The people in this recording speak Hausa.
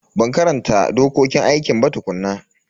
Ban karanta dokokin aikin ba tukuna.